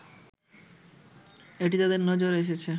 এটি তাদের নজরে এসেছে